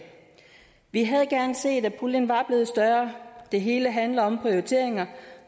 vi havde gerne set at puljen var blevet større det hele handler om prioriteringer